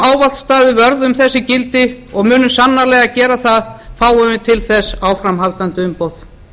ávallt staðið vörð um þessi gildi og munum sannarlega gera það fáum við þess áframhaldandi umboð